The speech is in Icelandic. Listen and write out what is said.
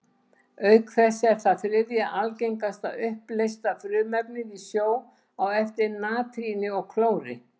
Auk þess er það þriðja algengasta uppleysta frumefnið í sjó, á eftir natríni og klóri.